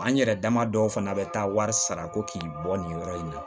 An yɛrɛ dama dɔw fana bɛ taa wari sara ko k'i bɔ nin yɔrɔ in na